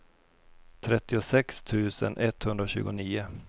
trettiosex tusen etthundratjugonio